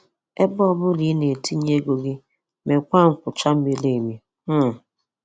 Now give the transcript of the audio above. Ebe ọ bụla ị na-etinye ego gị, meekwa nchọcha miri emi. um